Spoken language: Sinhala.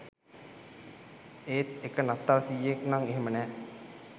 ඒත් එක නත්තල් සීයෙක් නම් එහෙම නැහැ